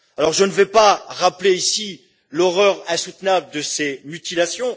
Je ne vais pas rappeler ici l'horreur insoutenable de ces mutilations.